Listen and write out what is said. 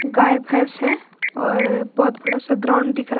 गाय भैंस हैं और बहोत बड़ा सा ग्राउंड दिख रहा है।